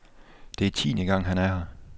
Det er tiende gang han er her.